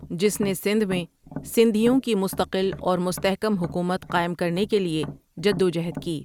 جس نے سندھ میں سندھیوں کی مستقل اور مستحکم حکومت قائم کرنے کے لیے جدوجہد کی ۔